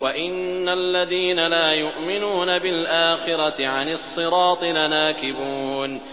وَإِنَّ الَّذِينَ لَا يُؤْمِنُونَ بِالْآخِرَةِ عَنِ الصِّرَاطِ لَنَاكِبُونَ